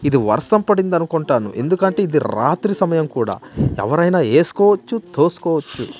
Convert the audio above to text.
ఇది వర్షం పడిందనుకుంటా ఎందుకంటే ఇది రాత్రి సమయం కూడా ఎవరైనా ఎస్కోవచ్చు తోస్కోవచ్చు.